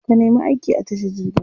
Ka nemi aiki a tashar jirgin ruwa.